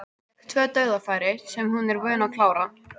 Fékk tvö dauðafæri sem hún er vön að klára.